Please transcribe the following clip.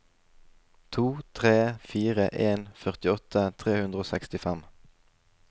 to tre fire en førtiåtte tre hundre og sekstifem